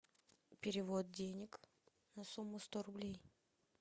перевод денег на сумму сто рублей